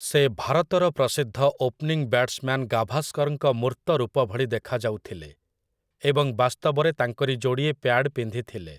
ସେ ଭାରତର ପ୍ରସିଦ୍ଧ ଓପନିଂ ବ୍ୟାଟ୍‌ସମ୍ୟାନ୍‌ ଗାଭାସ୍କରଙ୍କ ମୂର୍ତ୍ତ ରୂପ ଭଳି ଦେଖାଯାଉଥିଲେ, ଏବଂ ବାସ୍ତବରେ ତାଙ୍କରି ଯୋଡ଼ିଏ ପ୍ୟାଡ୍ ପିନ୍ଧିଥିଲେ ।